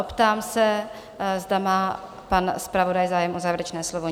Optám se, zda má pan zpravodaj zájem o závěrečné slovo?